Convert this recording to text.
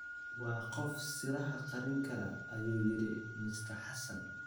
Waa qof siraha qarin kara,” ayuu yiri Mr Xassan